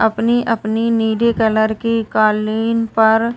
अपनी अपनी नीले कलर की कालीन पर --